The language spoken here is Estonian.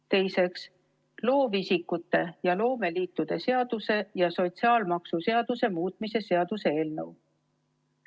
Teiseks, loovisikute ja loomeliitude seaduse ja sotsiaalmaksuseaduse muutmise seaduse eelnõu.